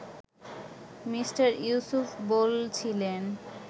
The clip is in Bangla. মিঃ ইউসুফ বলছিলেন